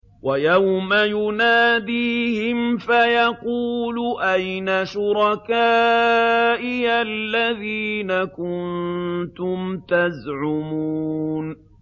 وَيَوْمَ يُنَادِيهِمْ فَيَقُولُ أَيْنَ شُرَكَائِيَ الَّذِينَ كُنتُمْ تَزْعُمُونَ